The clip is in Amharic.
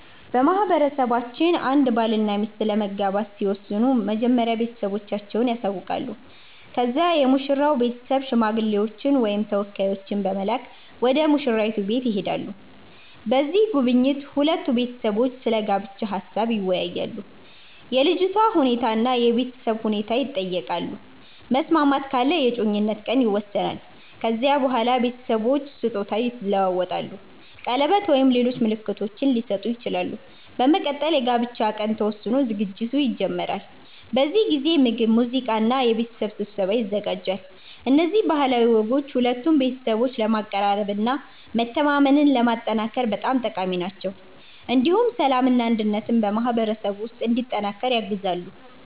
በማህበረሰባችን አንድ ባልና ሚስት ለመጋባት ሲወስኑ መጀመሪያ ቤተሰቦቻቸውን ያሳውቃሉ። ከዚያ የሙሽራው ቤተሰብ ሽማግሌዎችን ወይም ተወካዮችን በመላክ ወደ ሙሽራይቱ ቤት ይሄዳሉ። በዚህ ጉብኝት ሁለቱ ቤተሰቦች ስለ ጋብቻ ሀሳብ ይወያያሉ፣ የልጅቷ ሁኔታ እና የቤተሰብ ሁኔታ ይጠየቃሉ። መስማማት ካለ የእጮኝነት ቀን ይወሰናል። ከዚያ በኋላ ቤተሰቦች ስጦታ ይለዋወጣሉ፣ ቀለበት ወይም ሌሎች ምልክቶች ሊሰጡ ይችላሉ። በመቀጠል የጋብቻ ቀን ተወስኖ ዝግጅት ይጀመራል። በዚህ ጊዜ ምግብ፣ ሙዚቃ እና የቤተሰብ ስብሰባ ይዘጋጃል። እነዚህ ባህላዊ ወጎች ሁለቱን ቤተሰቦች ለማቀራረብ እና መተማመንን ለማጠናከር በጣም ጠቃሚ ናቸው። እንዲሁም ሰላምና አንድነት በማህበረሰቡ ውስጥ እንዲጠናከር ያግዛሉ።